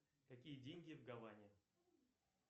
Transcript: какие деньги в гаване